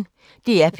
DR P1